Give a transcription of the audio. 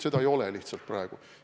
Seda lihtsalt praegu ei ole.